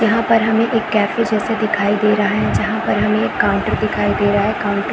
यहाँ पर हमें एक कैफ़े जैसा दिखाई दे रहा है जहाँ पर हमें एक काउंटर दिखाई दे रहा है काउंटर --